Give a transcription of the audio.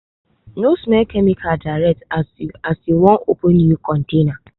no smell chemical direct as you as you wan open new container.